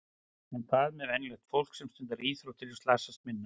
En hvað með venjulegt fólk sem stundar íþróttir og slasast minna?